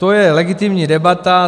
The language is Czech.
To je legitimní debata.